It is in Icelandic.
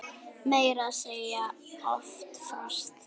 Meira að segja oft frost!